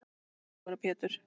Sævar og Pétur.